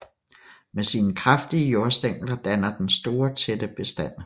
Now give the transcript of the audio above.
Med sine kraftige jordstængler danner den store tætte bestande